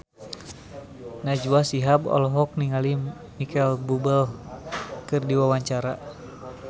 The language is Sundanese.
Najwa Shihab olohok ningali Micheal Bubble keur diwawancara